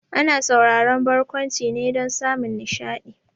Ana sauraron barkwanci ne dan samun nishaɗi